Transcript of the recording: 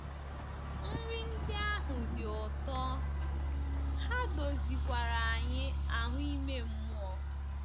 Nri ndị ahụ dị ụtọ — ha dozikwara anyị ahụ́ ime mmụọ.